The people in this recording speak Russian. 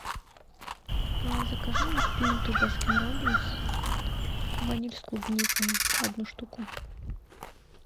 закажи мне пинту баскин роббинс ваниль с клубникой одну штуку